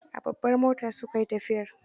A babbar mota su kai tafiyar.